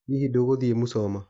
Hihi ndũgũthie Musoma?